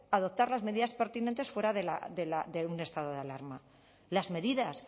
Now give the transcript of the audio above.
adoptar las medidas pertinentes fuera de un estado de alarma las medidas